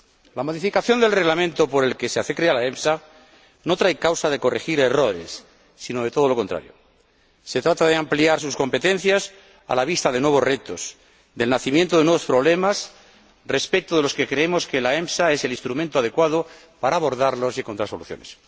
La modificación del Reglamento por el que se crea la EMSA no trae causa de corregir errores, sino de todo lo contrario se trata de ampliar sus competencias a la vista de nuevos retos, del nacimiento de nuevos problemas respecto de los que creemos que la EMSA es el instrumento adecuado para abordarlos y encontrar soluciones.